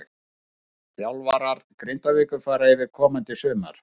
Þjálfarar Grindavíkur fara yfir komandi sumar.